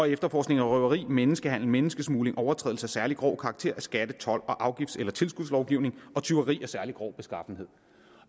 efterforskning og røveri menneskehandel menneskesmugling overtrædelse af særlig grov karakter af skatte told og afgifts eller tilskudslovgivning og tyveri af særlig grov beskaffenhed